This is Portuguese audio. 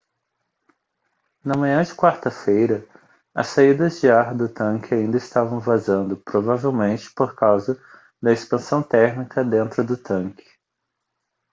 na manhã de quarta-feira as saídas de ar do tanque ainda estavam vazando provavelmente por causa da expansão térmica dentro do tanque